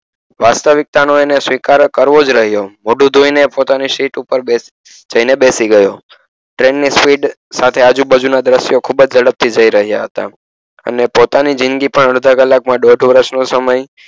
વાસ્તવિકતા નો એને સ્વીકાર કરવો જ રહીયો મોઢું ધોઈ ને પોતાની સીટ ઉપર જાય ને બેસી ગયો train ની speed સાથે આજુબાજુ ના દર્સ્યો ખુબ જ ઝડપે જાય રહિયા હતા અને પોતાની જિંદગી પણ અડધો કલાક માં દોઢ વર્ષ નો સમય